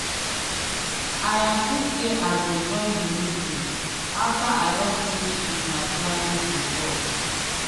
i agree say i go join the meeting after i don finish with my clientr report.